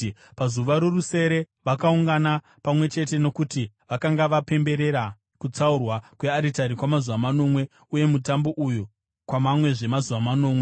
Pazuva rorusere vakaungana pamwe chete nokuti vakanga vapemberera kutsaurwa kwearitari kwamazuva manomwe uye mutambo uyu kwamamwezve mazuva manomwe.